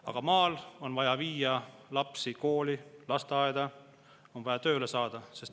Aga maal on vaja viia lapsi kooli, lasteaeda, on vaja tööle saada.